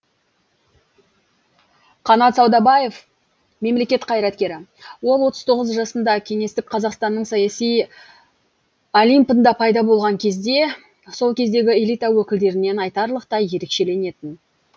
қанат саудабаев мемлекет қайраткері ол отыз тоғыз жасында кеңестік қазақстанның саяси олимпында пайда болған кезде сол кездегі элита өкілдерінен айтарлықтай ерекшеленетін